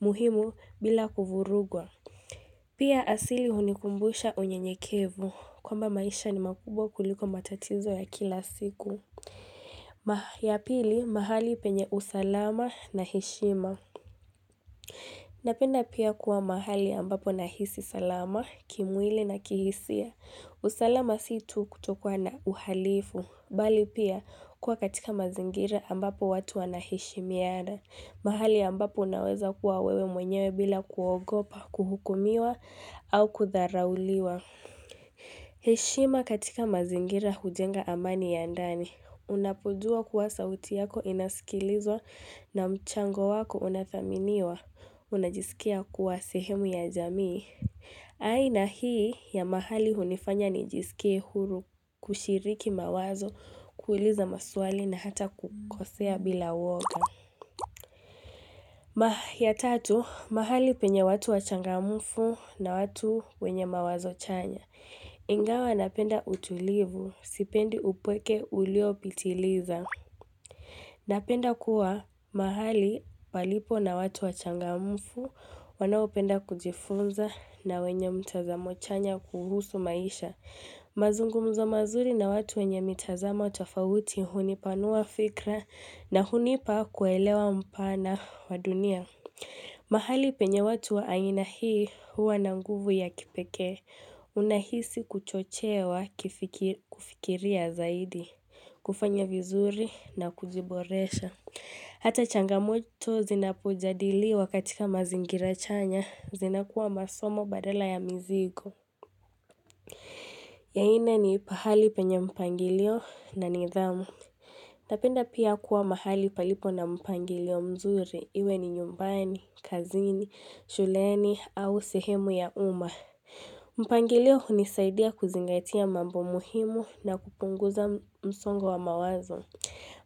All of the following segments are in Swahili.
muhimu bila kuvurugwa. Pia asili hunikumbusha unyenyekevu kwamba maisha ni makubwa kuliko matatizo ya kila siku. Ya pili, mahali penye usalama na heshima. Napenda pia kuwa mahali ambapo nahisi salama, kimwili na kihisia. Usalama si tu kutokuwa na uhalifu, bali pia kuwa katika mazingira ambapo watu anaheshimiana, mahali ambapo unaweza kuwa wewe mwenyewe bila kuogopa, kuhukumiwa au kudharauliwa. Heshima katika mazingira hujenga amani ya ndani. Unapojua kuwa sauti yako inasikilizwa na mchango wako unathaminiwa. Unajisikia kuwa sehemu ya jamii aina hii ya mahali hunifanya nijisikia huru kushiriki mawazo kuuliza maswali na hata kukosea bila woga Mahalo ya tatu, mahali penye watu wachangamfu na watu wenye mawazo chanya Ingawa napenda utulivu, sipendi upweke uliopitiliza Napenda kuwa mahali palipo na watu wachangamfu wanaopenda kujifunza na wenye mtazamo chanya kuhusu maisha. Mazungumzo mazuri na watu wenye mitazamo tofauti hunipanua fikra na hunipa kuelewa mpana wa dunia. Mahali penye watu wa aina hii huwa na nguvu ya kipekee, unahisi kuchochewa kufikiria zaidi, kufanya vizuri na kuziboresha. Hata changamoto zinapojadiliwa katika mazingira chanya, zinakuwa masomo badala ya mizigo. Ya nne ni pahali penye mpangilio na nidhamu. Napenda pia kuwa mahali palipo na mpangilio mzuri, iwe ni nyumbani, kazini, shuleni au sehemu ya uma. Mpangilio hunisaidia kuzingatia mambo muhimu na kupunguza msongo wa mawazo.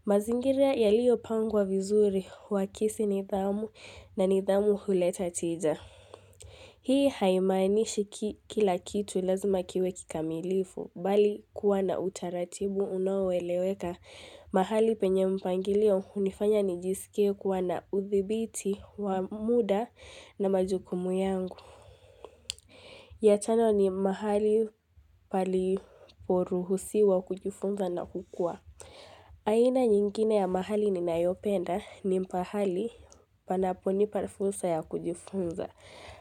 Mazingiria yaliyopangwa vizuri, huakisi nidhamu na nidhamu huleta tija. Hii haimainishi kila kitu lazima kiwe kikamilifu, bali kuwa na utaratibu unaoeleweka mahali penye mpangilio hunifanya nijisikie kuwa na uthibiti wa muda na majukumu yangu. Ya tano ni mahali paliporuhusiwa kujifunza na kukua. Aina nyingine ya mahali ninayopenda ni pahali panapo nipa fursa ya kujifunza.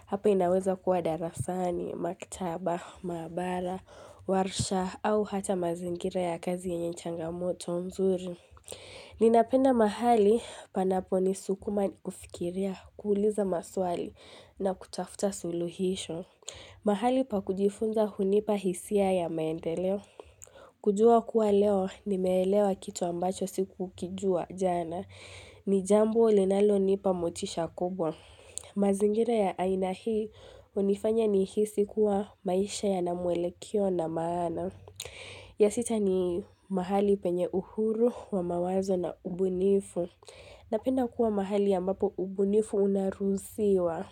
Hapa inaweza kuwa darasani, maktaba, maabara, warsha au hata mazingira ya kazi yenye changamoto nzuri. Ninapenda mahali panapo ni sukuma kufikiria, kuuliza maswali na kutafuta suluhisho. Mahali pa kujifunza hunipa hisia ya maendeleo. Kujua kuwa leo nimeelewa kitu ambacho sikukijua jana. Ni jambo linalonipa motisha kubwa. Mazingira ya aina hii hunifanya nihisi kuwa maisha yana mwelekeo na maana. Ya sita ni mahali penye uhuru wa mawazo na ubunifu. Napenda kuwa mahali ambapo ubunifu unaruhusiwa.